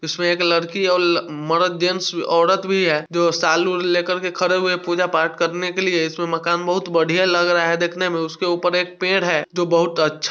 इसमें एक लड़की और जेंट्स और औरत भी हैं जो साल वूल लेकर के खड़े हुए हैं पूजा पाठ करने के लिए। इसमें मकान बहुत बढ़िया लग रहा हैं देखने मैं| उसके ऊपर एक पेड़ हैं जो बहुत अच्छ--